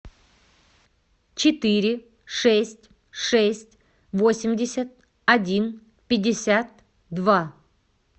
четыре шесть шесть восемьдесят один пятьдесят два